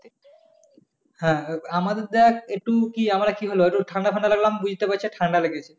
হ্যাঁ আমাদের দেখ একটু কি আমরা কি হলো একটু ঠান্ডা-ফান্ডা লাগলো বুঝতে পারছে ঠান্ডা লাগেছে।